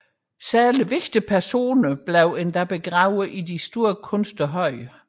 Særligt betydningsfulde personer blev endda begravet i store kunstige høje